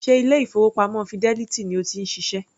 Ṣe ilé-ìfowópamọ́ Fidelity ni o ti ń ṣiṣẹ́?